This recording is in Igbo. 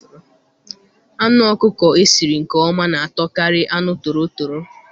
Anụ ọkụkọ esiri nke ọma na atọ kari anụ torotoro